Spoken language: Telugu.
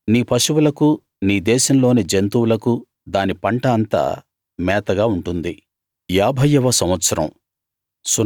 నీ పశువులకు నీ దేశంలోని జంతువులకు దాని పంట అంతా మేతగా ఉంటుంది